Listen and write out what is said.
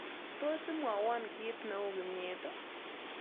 Tos' imwawon kiitneu kimnyet ii